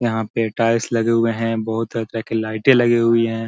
यहाँ पे टाइल्स लगे हुए हैं बहुत तरह-तरह के लाइटें लगी हुई हैं।